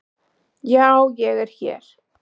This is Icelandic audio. Já ég er hér.